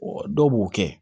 dɔw b'o kɛ